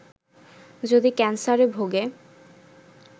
যদি ক্যানসারে ভোগে